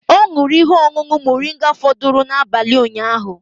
Ọ ṅụrụ ihe ọṅụṅụ moringa fọdụrụ n'abalị ụnyaahụ